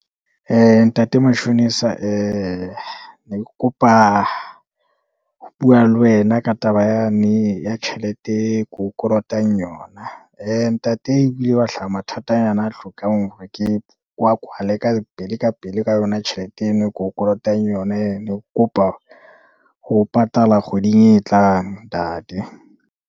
Ntate mashonisa, ne ke kopa ho bua le wena ka taba yane ya tjhelete e ko o kolotang yona, ntate ho ile wa hlaha mathatanyana a hlokang hore ke, ke wa kwale ka pele, ka pele, ka yona tjhelete eno e ko o kolotang yona, ne ke kopa ho patala kgweding e tlang, ntate.